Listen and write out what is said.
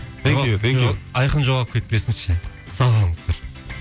айқын жоғалып кетпесінші сау болыңыздар